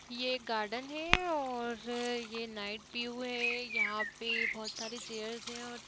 ये एक गार्डन है और ये नाइट व्यू है यहा पे बहुत सारे चेयर्स है और --